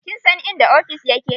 Kin san inda ofis ya ke?